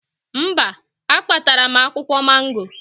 Mba, akpatara m akwụkwọ mango